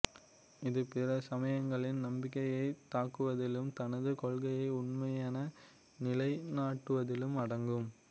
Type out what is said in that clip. இது பிற சமயங்களின் நம்பிக்கையைத் தாக்குவதிலும் தனது கொள்கையே உண்மையென நிலைநாட்டுவதிலும் அடங்கும்